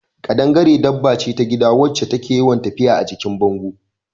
Ƙadangare dabba ce ta gida wacce take yawan tafiya a jikin bango